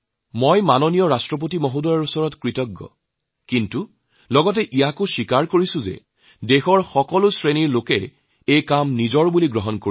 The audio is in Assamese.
মই মাননীয় ৰাষ্ট্ৰপতিৰ ওচৰত কৃতজ্ঞ কিন্তু একেদৰে দেশৰ সকলো শ্ৰেণীৰ মানুহে এই স্বচ্ছতা অভিযানক নিজৰ কাম বুলি মানি লৈছে